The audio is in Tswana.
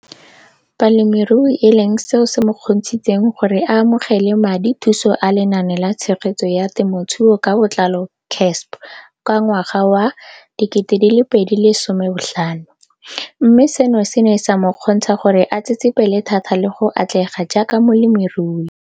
Balemirui e leng seo se mo kgontshitseng gore a amogele madithuso a Lenaane la Tshegetso ya Te mothuo ka Botlalo CASP ka ngwaga wa 2015, mme seno se ne sa mo kgontsha gore a tsetsepele thata le go atlega jaaka molemirui.